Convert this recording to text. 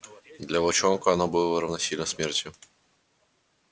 для волчонка оно было равносильно смерти